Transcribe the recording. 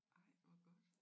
Ej hvor godt